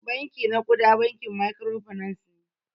Banki na kuda bankin microfinance ne.